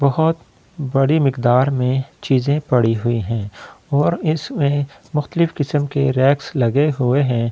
बहुत बड़ी मिकदार में चीज़े पड़ी हुई है और इसमे मुकलीफ़ किस्म के रैक्स लगे हुए है ये